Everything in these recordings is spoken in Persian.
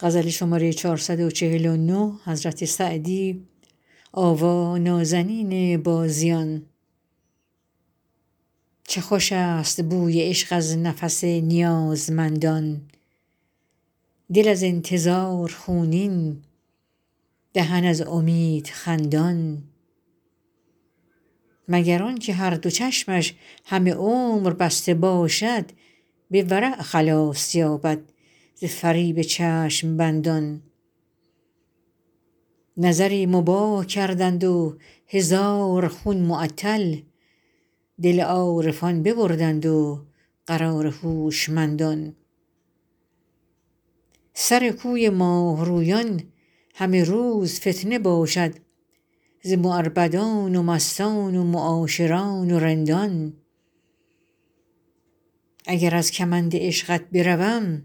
چه خوش است بوی عشق از نفس نیازمندان دل از انتظار خونین دهن از امید خندان مگر آن که هر دو چشمش همه عمر بسته باشد به ورع خلاص یابد ز فریب چشم بندان نظری مباح کردند و هزار خون معطل دل عارفان ببردند و قرار هوشمندان سر کوی ماه رویان همه روز فتنه باشد ز معربدان و مستان و معاشران و رندان اگر از کمند عشقت بروم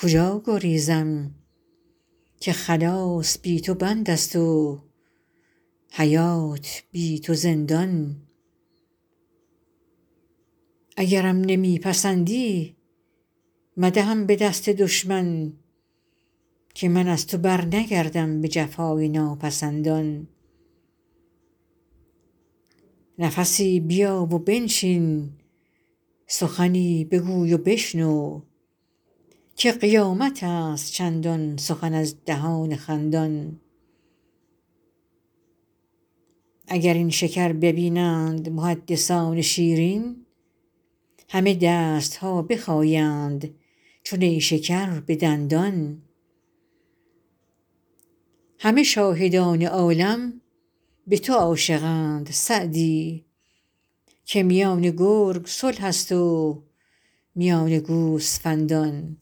کجا گریزم که خلاص بی تو بند است و حیات بی تو زندان اگرم نمی پسندی مدهم به دست دشمن که من از تو برنگردم به جفای ناپسندان نفسی بیا و بنشین سخنی بگوی و بشنو که قیامت است چندان سخن از دهان خندان اگر این شکر ببینند محدثان شیرین همه دست ها بخایند چو نیشکر به دندان همه شاهدان عالم به تو عاشقند سعدی که میان گرگ صلح است و میان گوسفندان